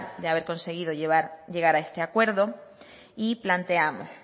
de haber conseguido llegar a este acuerdo y planteamos